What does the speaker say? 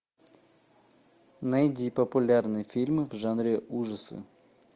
найди популярные фильмы в жанре ужасы